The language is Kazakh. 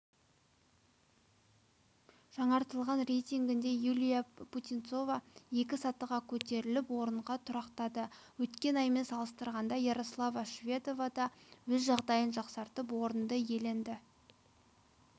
жаңартылған рейтингінде юлия путинцева екі сатыға көтеріліп орынға тұрақтады өткен аймен салыстырғанда ярослава шведова да өз жағдайын жақсартып орынды иеленді